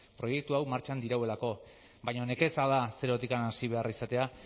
proiektu hau martxan dirauelako baina nekeza da zerotik hasi behar izatea